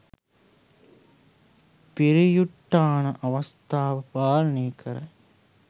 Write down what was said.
පරියුට්ඨාන අවස්ථාව පාලනය කරයි.